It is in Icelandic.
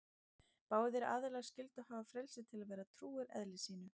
Báðir aðilar skyldu hafa frelsi til að vera trúir eðli sínu.